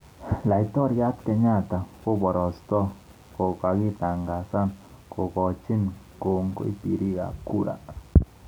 Laitoriat Kenyatta koporostoi kokakitangazan kokoikochi komgoi. piriik al.kura